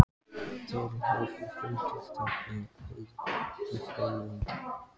Þér hefur fundist þetta hið besta mál?